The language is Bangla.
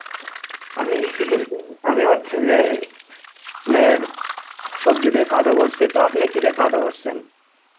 আমি আমি হচ্ছে যে নের সবজি দিয়ে খাওয়া দাওয়া করছি তো আপনি কি দিয়ে খাওয়া দাওয়া করছেন?